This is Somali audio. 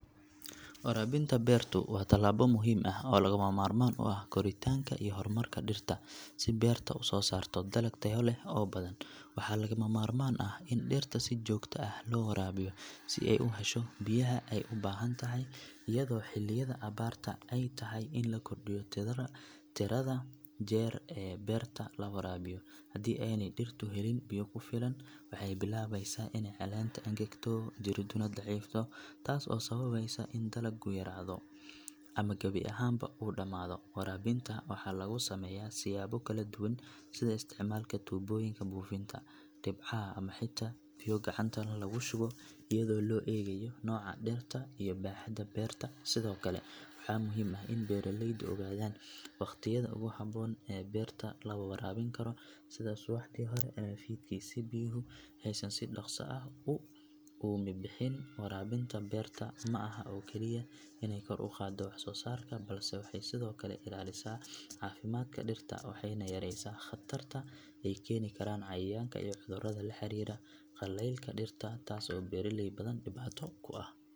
Warabinta beertu waa tallaabo muhiim ah oo lagama maarmaan u ah koritaanka iyo horumarka dhirta si beerta u soo saarto dalag tayo leh oo badan waxaa lagama maarmaan ah in dhirta si joogto ah loo waraabiyo si ay u hesho biyaha ay u baahan tahay iyadoo xilliyada abaarta ay tahay in la kordhiyo tirada jeer ee beerta la waraabiyo haddii aanay dhirtu helin biyo ku filan waxay bilaabaysaa inay caleenta engegto jiriduna daciifto taas oo sababaysa in dalaggu yaraado ama gebi ahaanba uu dhammaado warabinta waxaa lagu sameeyaa siyaabo kala duwan sida isticmaalka tuubooyinka buufinta, dhibcaha ama xitaa biyo gacanta lagu shubo iyadoo loo eegayo nooca dhirta iyo baaxadda beerta sidoo kale waxaa muhiim ah in beeraleydu ogaadaan wakhtiyada ugu habboon ee beerta la waraabin karo sida subaxdii hore ama fiidkii si biyuhu aysan si dhaqso ah u uumibixin warabinta beerta ma aha oo keliya inay kor u qaaddo wax-soo-saarka balse waxay sidoo kale ilaalisaa caafimaadka dhirta waxayna yareysaa khatarta ay keeni karaan cayayaanka iyo cudurrada la xiriira qaleylka dhirta taas oo beeraley badan dhibaato ku ah.